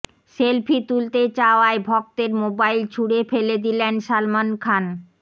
selfie তুলতে চাওয়ায় ভক্তের মোবাইল ছুড়ে ফেলে দিলেন সালমান খান